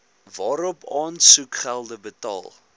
waarop aansoekgelde betaal